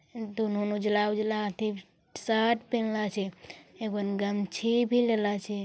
दोनों ने उजला-उजला अठे शर्ट पेनला स एगो गमछी भी लेला स ।